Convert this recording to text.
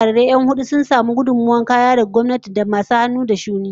Wasu jarirai 'yan hudu sun samu gudummawar kaya daga gwamnati da masu hannu da shuni